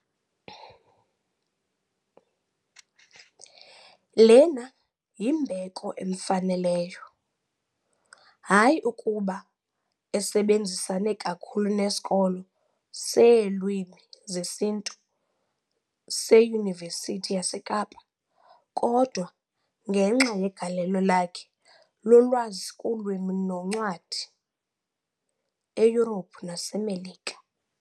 Lena yimbeko emfaneleyo, hayi kuba esebenzisane kakhulu nesiKolo seeLwimi zesiNtu seYunivesithi yaseKapa, kodwa ngenxa yegalelo lakhe lolwazi kuLwimi noNcwadi eYurophu naseMelika .